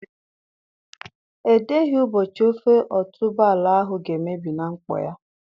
Edeghị ụbọchị ofe otuboala ahụ ga-emebi na nkpọ ya.